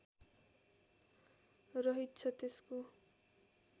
रहित छ त्यसको